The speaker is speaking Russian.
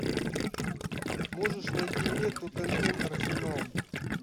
можешь найти мне тоттенхэм арсенал